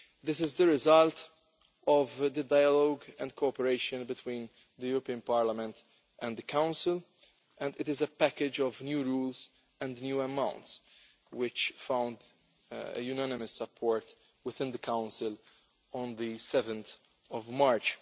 This is the result of the dialogue and cooperation between the European Parliament and the Council, and it is a package of new rules and new amounts which found unanimous support within the Council on 7 March.